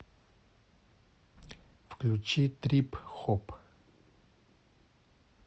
включи трип хоп